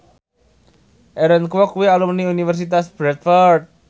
Aaron Kwok kuwi alumni Universitas Bradford